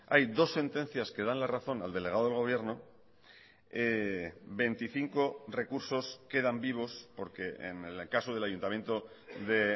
hay dos sentencias que dan la razón al delegado del gobierno veinticinco recursos quedan vivos porque en el caso del ayuntamiento de